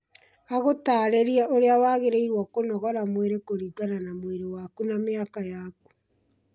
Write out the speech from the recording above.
agũtarĩrie ũria wagĩ rĩ irwo kũnogora mwĩrĩ kũringana na mwĩrĩ waku na mĩaka yaku